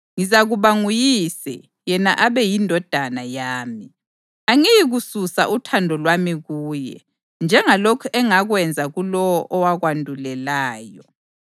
Ngizakuba nguyise, yena abe yindodana yami. Angiyikususa uthando lwami kuye, njengalokhu engakwenza kulowo owakwandulelayo.